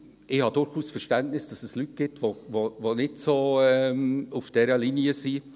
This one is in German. Ich habe durchaus Verständnis, dass es Personen gibt, die nicht so auf dieser Linie sind.